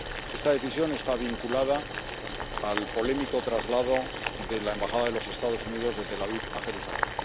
Esta decisión está vinculada al polémico traslado de la Embajada de los Estados Unidos de Tel Aviv a Jerusalén.